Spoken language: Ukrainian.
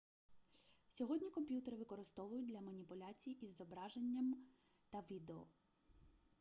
сьогодні комп'ютери використовують для маніпуляцій із зображеннями та відео